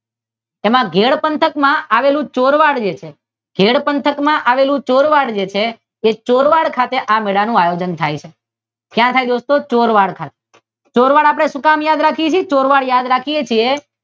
નાઘેર પંથક માં આવેલું ચોરવાડ છે તે ચોરવાડ ખાતે આ મેળાનું આયોજન થાય છે ક્યાં થાય દોસ્તો? ચોરવાડ થાય ચોરવાડ આપડે શુકામ યાદ રાખીએ ચોરવાડ શુકામ યાદ રાખીએ છીએ